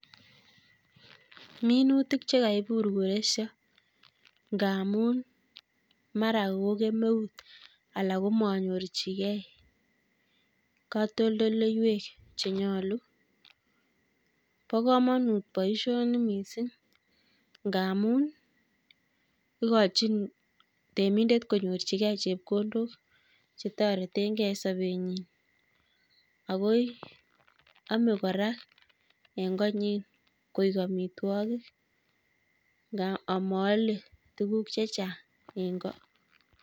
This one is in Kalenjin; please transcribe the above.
Minutik chekaibur koresio ngaamun mara ko kemeut alak ko manyorchigei kotoldoloiwek chenuolu. pa komonut boisioni miising' ngaamun igochin temindet konyorchigei chepkondok chetoretengei sabetnyi akoi ame kora eng' koinyi koek amitwogik nga amaale tuguk chechang' ing'ko